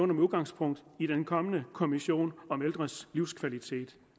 med udgangspunkt i den kommende kommission om ældres livskvalitet